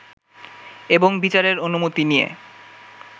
এবং বিচারের অনুমতি নিয়ে